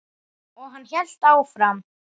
Og hann hélt áfram.